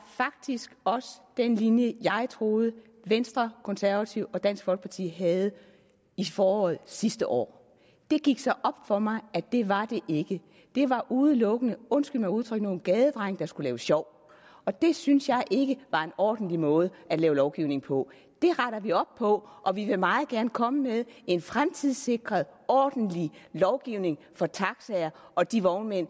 faktisk også den linje jeg troede venstre konservative og dansk folkeparti havde i foråret sidste år det gik så op for mig at det var det ikke det var udelukkende undskyld mig udtrykket nogle gadedrenge der skulle lave sjov og det synes jeg ikke var en ordentlig måde at lave lovgivning på det retter vi op på og vi vil meget gerne komme med en fremtidssikret ordentlig lovgivning for taxaer og de vognmænd